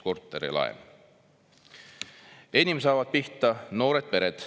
"Enim saavad pihta noored pered.